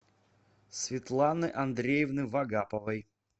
светланы андреевны вагаповой